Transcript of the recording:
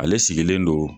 Ale sigilen don